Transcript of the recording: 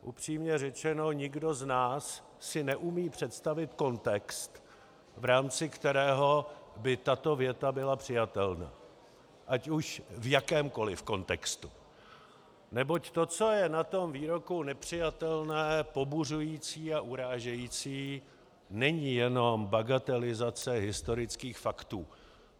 Upřímně řečeno nikdo z nás si neumí představit kontext, v rámci kterého by tato věta byla přijatelná ať už v jakémkoliv kontextu, neboť to, co je na tom výroku nepřijatelné, pobuřující a urážející, není jenom bagatelizace historických faktů.